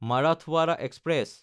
Marathwada express